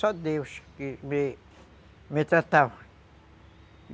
Só Deus que me, me tratava.